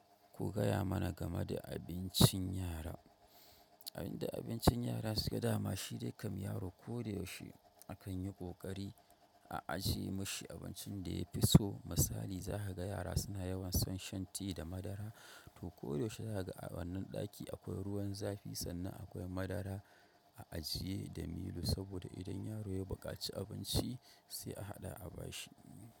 Ku gaya mana game da abincin yara. Abin da abincin yara suke dama shi dai kam yaro ko da yaushe akan yi ƙoƙari a ajiye mashi abincin da ya fi so. Misali za ka ga yara suna yawan son shan tea da madara, to koda yaushe za ka ga a wannan ɗaki akwai ruwan zafi sannan akwai madara a ajiye da milo saboda idan yaro ya buƙaci abinci sai a haɗa a bashi.